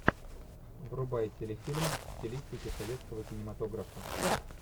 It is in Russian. врубай телефильм в стилистике советского кинематографа